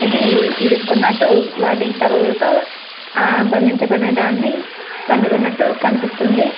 ఇవి ఇరుక్కున్న టు వాటికి తలలతో ఆ బంధించబడిన దాన్ని తన్ను తున్నట్లు కనిపిస్తుంది.